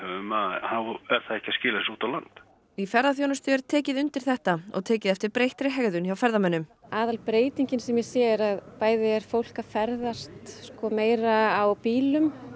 höfum þá er það ekki að skila sér út á land í ferðaþjónustu er tekið undir þetta og tekið eftir breyttri hegðun hjá ferðamönnum aðalbreytingin sem ég sé er að bæði er fólk að ferðast meira á bílum